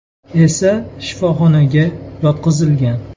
esa shifoxonaga yotqizilgan.